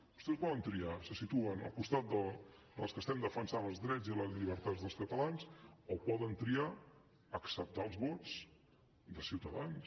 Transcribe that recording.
vostès poden triar se situen al costat dels que estem defensant els drets i les llibertats dels catalans o poden triar acceptar els vots de ciutadans